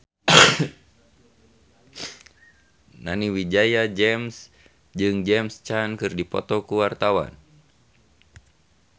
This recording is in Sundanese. Nani Wijaya jeung James Caan keur dipoto ku wartawan